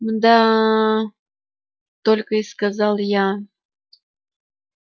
мда только и сказал я